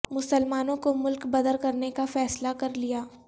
مسلمانوں کو ملک بدر کرنے کا فیصلہ کر لیا